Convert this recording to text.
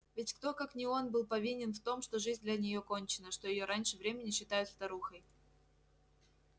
ведь кто как не он был повинен в том что жизнь для нее кончена что её раньше времени считают старухой